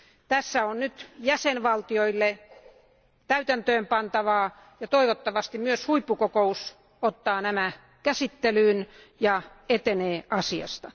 Tässä on nyt jäsenvaltioille täytäntöön pantavaa, ja toivottavasti myös huippukokous ottaa nämä asiat käsittelyyn ja etenee asiassa.